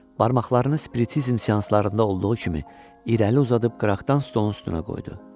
Barmaqlarını spritisizm seanslarında olduğu kimi irəli uzadıb qıraqdan stolun üstünə qoydu.